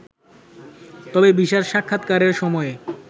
তবে ভিসার সাক্ষাতকারের সময়ে